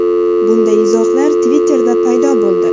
Bunday izohlar Twitter’da paydo bo‘ldi.